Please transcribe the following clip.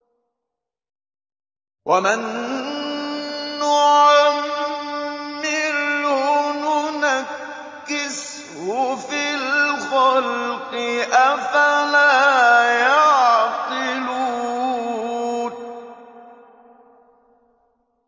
وَمَن نُّعَمِّرْهُ نُنَكِّسْهُ فِي الْخَلْقِ ۖ أَفَلَا يَعْقِلُونَ